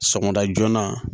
Sɔgɔmada joona